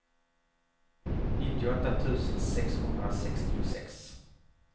nittioåtta tusen sexhundrasextiosex